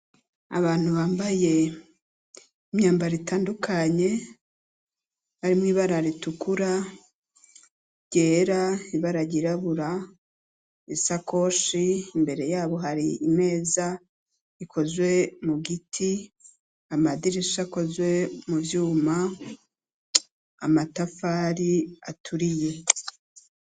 Abantu bambaye imyambaro itandukanye, harimwo ibara ritukura, ryera, ibara ryirabura, isakoshi, imbere yabo ikozwe mu giti, amadirisha akozwe mu vyuma, amatafari aturiye.